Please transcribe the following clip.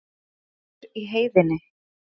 Vetur í heiðinni.